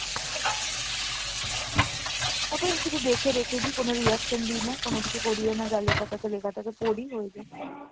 ওটায় আমি শুধু দেখে রেখে দি কেন reaction দিই না, কোনোকিছু করিও না যা লেখা থাকে লেখা থাকে পড়ি ওই যা।